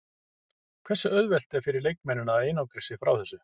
Hversu auðvelt er fyrir leikmennina að einangra sig frá þessu?